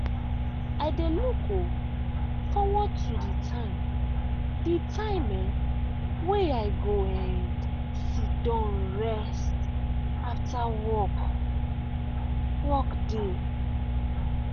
i dey look um forward to the time the time um way i go um sidon rest after work work day.